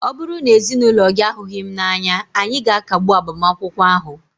ọ bụrụ na ezinụlọ gị ahụghị m n'anya, anyị ga-akagbu agbamakwụkwọ ahụ